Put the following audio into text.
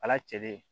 Ala cɛ de